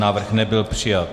Návrh nebyl přijat.